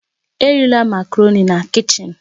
Erila Makaroni na kichin!